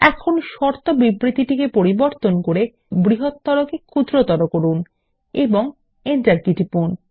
এখন শর্ত বিবৃতিতে পরিবর্তন করে বৃহত্তর কে ক্ষুদ্রতর করুন এবং এন্টারকী টিপুন